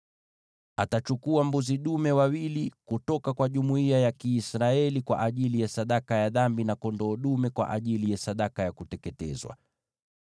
Atachukua mbuzi dume wawili kutoka kwa jumuiya ya Israeli kwa ajili ya sadaka ya dhambi, na kondoo dume kwa ajili ya sadaka ya kuteketezwa.